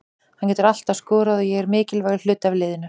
Hann getur alltaf skorað og er mikilvægur hluti af liðinu.